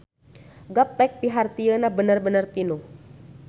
Gaplek pihartieuna bener-bener pinuh.